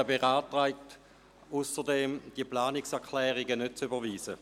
Er beantragt zudem, die Planungserklärungen nicht zu überweisen.